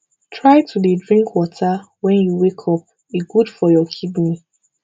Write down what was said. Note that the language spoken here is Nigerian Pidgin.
try to dey drink water wen you wake up e good for your kidney